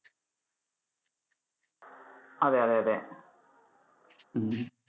അതെ അതെ അതെ.